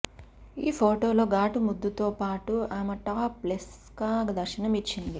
ఈ ఫొటోలో ఘాటు ముద్దుతో పాటు ఆమె టాప్ లెస్గా దర్శనం ఇచ్చింది